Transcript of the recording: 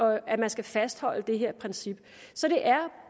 at man skal fastholde det her princip så det er